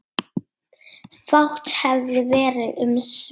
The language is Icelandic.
Fátt hefði verið um svör.